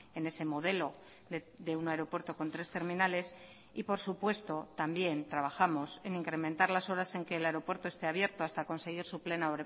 en ese modelo de un aeropuerto con tres terminales y por supuesto también trabajamos en incrementar las oras en que el aeropuerto esté abierto hasta conseguir su plena